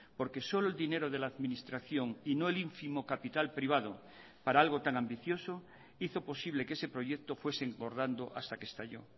porque solo el dinero de la administración y no el ínfimo capital privado para algo tan ambicioso hizo posible que ese proyecto fuese engordando hasta que estalló